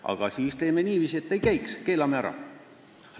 Aga siis teeme niiviisi, et ei käiks, keelame ära.